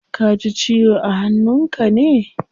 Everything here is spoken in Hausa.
Kaji ciwo a hannun ka ne?